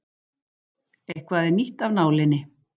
Eitthvað er nýtt af nálinni